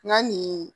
Nka nin